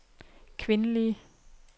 kvindelige